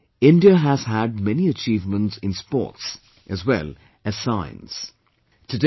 Recently, India has had many achievements in sports, as well as science